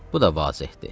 Bu da vazehdir.